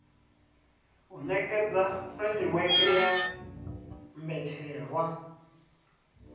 u nekedza furemiweke ya mbetshelwa